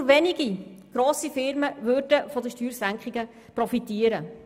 Nur wenige grosse Firmen würden von den Steuersenkungen profitieren.